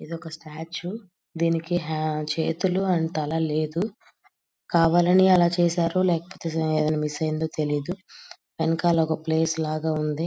ఇది ఒక స్టాట్యూ దీనికి హ చేతులు అండ్ తల లేదు కావాలని అలాగ చేసారో లేకపోతె ఏదైనా మిస్ అయిందో తెలీదు వెనకాల ఒక ప్లేస్ లాగా ఉంది.